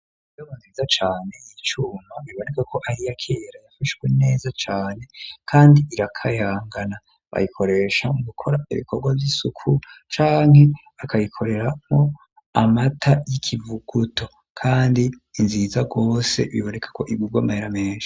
Bobo nziza cane y'icuno biboneka ko ahiyakera yafashwe neza cane kandi irakayangana bayikoresha mu gukora ibikorwa vy'isuku cane cane akayikorerammwo amata y'ikivuguto kandi inziza rwose biboneka ko ibguga mahera menshi.